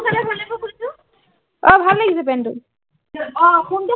কোনটো কিনিছো পেন টো অ